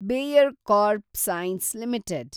Bayer CropScience limited